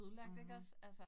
Mh